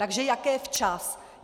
Takže jaké včas?